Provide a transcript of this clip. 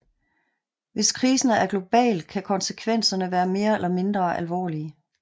Hvis krisen er global kan konsekvenserne være mere eller mindre alvorlige